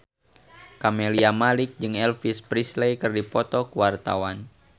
Camelia Malik jeung Elvis Presley keur dipoto ku wartawan